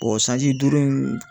O sanji duuru in